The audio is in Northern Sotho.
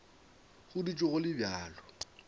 go dutše go le bjalo